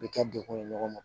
U bɛ kɛ dekun ye ɲɔgɔn ma